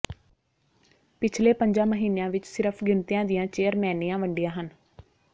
ਪਿਛਲੇ ਪੰਜਾਂ ਮਹੀਨਿਆਂ ਵਿਚ ਸਿਰਫ ਗਿਣਤੀਆਂ ਦੀਆਂ ਚੇਅਰਮੈਨੀਆਂ ਵੰਡੀਆਂ ਹਨ